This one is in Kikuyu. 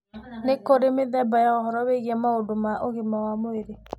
Nĩ kũrĩ mĩthemba ya ũhoro wĩgie maũndũ ma ũgima wa mwĩrĩ.